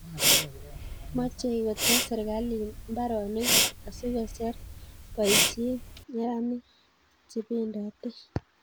Mochei kotes serkalit mbaronik asikoser boisiet neranik chebendotei